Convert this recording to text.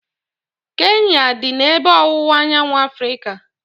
Kenya dị n'ebe ọwụwa anyanwụ Africa